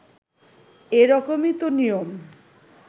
এরকমই তো নিয়ম